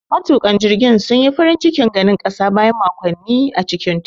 Matuƙan jirgin sun yi farin cikin ganin ƙasa bayan makonni a cikin teku.